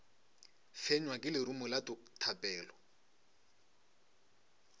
fenywa ke lerumo la thapelo